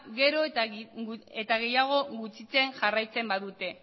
gero eta gehiago gutxitzen jarraitzen badute